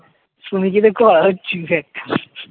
শুনে যদি একটা